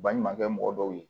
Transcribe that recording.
Baɲumankɛ mɔgɔ dɔw ye